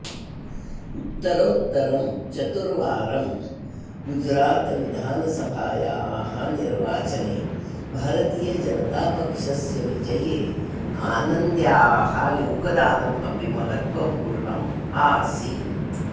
उत्तरोत्तरं चतुर्वारं गुजरातविधानसभायाः निर्वाचने भारतीयजनतापक्षस्य विजये आनन्द्याः योगदानम् अपि महत्वपूर्णम् आसीत्